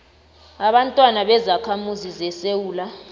ababantwana bezakhamuzi zesewula